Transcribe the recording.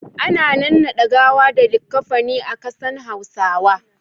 Ana nannade gawa da likaffani a kasan hausawa.